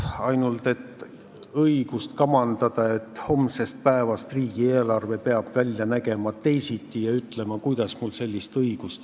Ainult et mul ei ole õigust kamandada, et homsest päevast peab riigieelarve teisiti välja nägema, ega öelda, kuidas siis.